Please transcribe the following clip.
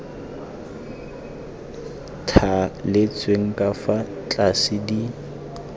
thaletsweng ka fa tlase di